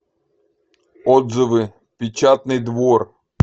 отзывы печатный двор